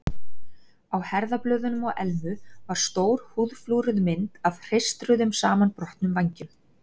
Á herðablöðunum á Elmu var stór húðflúruð mynd af hreistruðum, samanbrotnum vængjum.